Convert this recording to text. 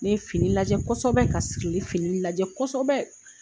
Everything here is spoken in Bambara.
Ne ye fili lajɛ kɔsɛbɛ ka sikili filili lajɛ kosobɛ